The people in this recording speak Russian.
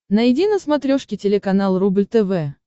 найди на смотрешке телеканал рубль тв